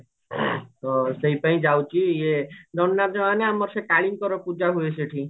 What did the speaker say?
ତ ସେଇ ପାଇଁ ଯାଉଚି ଇଏ ଦଣ୍ଡ ନାଚ ମାନେ ଆମର ସେ କାଳୀଙ୍କର ପୁଜ ହୁଏ ସେଠି